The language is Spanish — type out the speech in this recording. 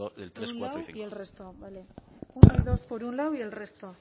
del tres cuatro y cinco uno y dos por un lado y el resto